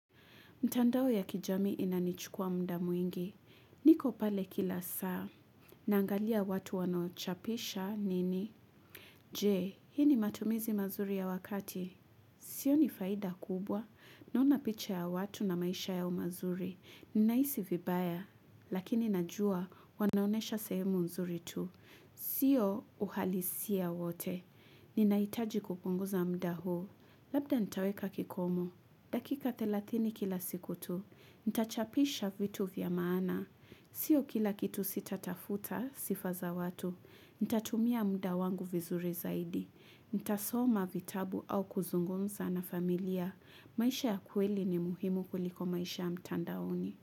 Mtandao ya kijamii inanichukua mda mwingi. Niko pale kila saa. Naangalia watu wanaochapisha nini. Je, hii ni matumizi mazuri ya wakati. Sioni faida kubwa. Naona picha ya watu na maisha yao mazuri. Naisi vibaya. Lakini najua wanaonesha sehemu mzuri tu. Sio uhalisia wote. Ninaitaji kupunguza mda huu. Labda nitaweka kikomo. Dakika thelathini kila siku tu. Ntachapisha vitu vya maana. Sio kila kitu sitatafuta sifa za watu. Ntatumia muda wangu vizuri zaidi. Ntasoma vitabu au kuzungumza na familia. Maisha ya kweli ni muhimu kuliko maisha ya mtandaoni.